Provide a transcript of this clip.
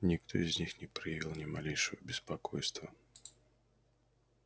никто из них не проявил ни малейшего беспокойства